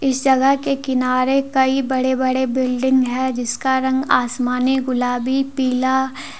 इस जगह के किनारे कई बड़े बड़े बिल्डिंग है जिसका रंग आसमानी गुलाबी पीला--